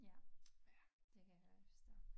Ja det kan jeg godt forstå